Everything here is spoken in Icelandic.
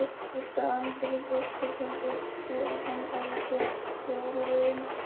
Edda Andrésdóttir: Heldur þú að hann hafi séð fjárlögin?